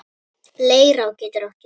Leirá getur átt við